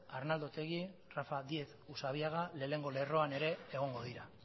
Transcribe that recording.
arnaldo otegi et rafa díez usabiaga lehenengo lerroan ere egongo dira